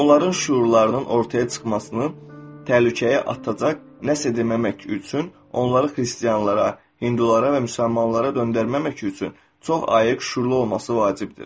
Onların şüurlarının ortaya çıxmasını təhlükəyə atacaq, nəsə edəməmək üçün, onları xristianlara, hindulara və müsəlmanlara döndərməmək üçün çox ayıq şüurlu olması vacibdir.